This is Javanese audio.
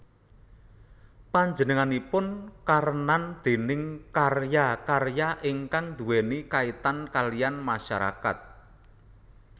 Panjenenganipun karenan déning karya karya ingkang nduweni kaitan kaliyan masyarakat